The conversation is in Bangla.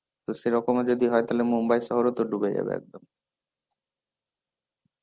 তো সেরকমও যদি হয় তাহলে মুম্বাই শহরও তো ডুবে যাবে একদম.